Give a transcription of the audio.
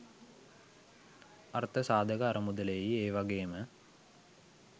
අර්ථ සාධක අරමුදලේයි ඒවගේම